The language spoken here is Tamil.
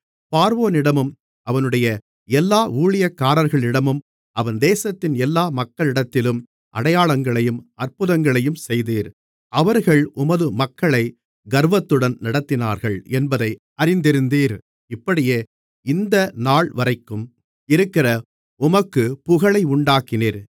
பார்வோனிடமும் அவனுடைய எல்லா ஊழியக்காரர்களிடமும் அவன் தேசத்தின் எல்லா மக்களிடத்திலும் அடையாளங்களையும் அற்புதங்களையும் செய்தீர் அவர்கள் உமது மக்களை கர்வத்துடன் நடத்தினார்கள் என்பதை அறிந்திருந்தீர் இப்படியே இந்த நாள்வரைக்கும் இருக்கிற உமக்கு புகழை உண்டாக்கினீர்